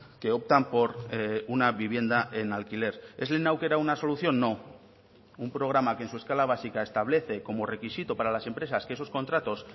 que optan por una vivienda en alquiler es lehen aukera una solución no un programa que en su escala básica establece como requisito para las empresas que esos contratos